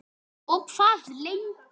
Hvað segirðu um það?